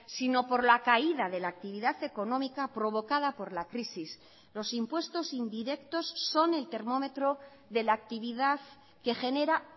sino por la caída de la actividad económica provocada por la crisis los impuestos indirectos son el termómetro de la actividad que genera